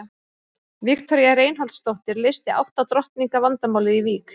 Viktoría Reinholdsdóttir leysti átta drottninga vandamálið í Vík.